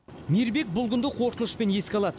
мейірбек бұл күнді қорқынышпен еске алады